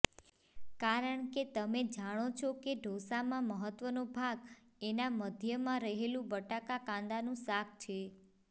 કારણ કે તમે જાણો છો કે ઢોંસામાં મહત્વનો ભાગ એના મધ્યમાં રહેલું બટાકાકાંદાનું શાક છે